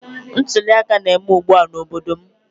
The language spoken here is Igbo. Ntuli aka na-eme ugbua n'obodo m